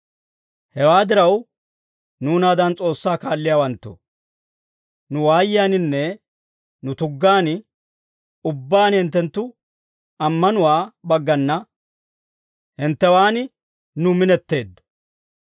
Hewaa diraw, nuunaadan S'oossaa kaalliyaawanttoo, nu waayiyaaninne nu tuggaan ubbaan hinttenttu ammanuwaa baggana hinttewaan nu minetteeddo.